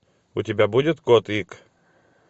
у тебя будет кот ик